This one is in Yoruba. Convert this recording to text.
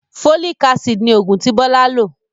Folic-Acid ni oògùn tí Bọlá lò